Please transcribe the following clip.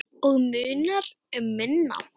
Og munar um minna.